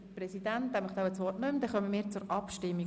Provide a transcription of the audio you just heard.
Somit kommen wir zur Abstimmung.